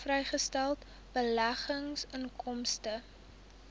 vrygestelde beleggingsinkomste